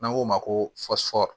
N'an k'o ma ko